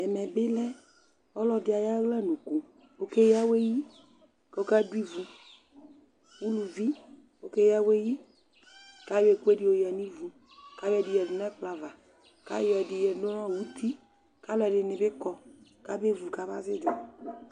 Ɛmɛ bɩ lɛ ɔlɔdɩ ayʋ aɣlanukʋ Ɔkeyǝ awɛ yi kʋ ɔkadʋ ivu Uluvi, ɔkeyǝ awɛ yi kʋ ayɔ ɛkʋɛdɩ yɔyǝ nʋ ivu kʋ ayɔ ɛdɩ yǝdu nʋ ɛkplɔ ava kʋ ayɔ ɛdɩ yǝdu nʋ uti kʋ alʋɛdɩnɩ bɩ kɔ kabevu, kabazɩ ɩdzʋ